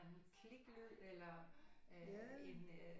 Kliklyd eller øh en øh